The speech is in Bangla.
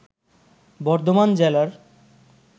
বর্ধমান জেলার